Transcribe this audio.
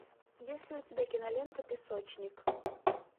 есть ли у тебя кинолента песочник